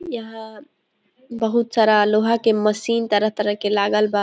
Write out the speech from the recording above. यहां बहुत सारा लोहा के मशीन तरह -तरह के लागल बा।